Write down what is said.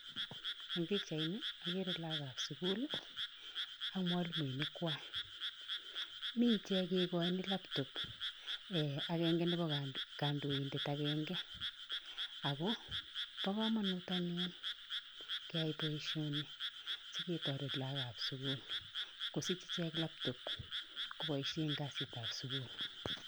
Eng pikchaini akere lagokap sukul ak mwalimoinikwai. Mi ichek kekochin laptop [mh] akenke nepo kandoindet akenke ako po komonut anyun keyai boisioni siketoret lagokap sukul kosich ichek laptop koboishe eng kasitap sukul.